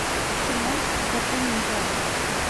кино похождения императора